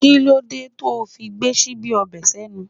Kí ló dé tó fi ń gbé síbí ọbẹ̀ senu?